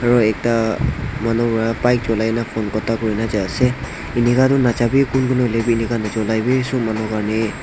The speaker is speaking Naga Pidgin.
aro ekta manu ya bike chuliana phone khuta kurigena jaiase inika toh najawi kun kun hoilewi inika nachulawi sob manu karni--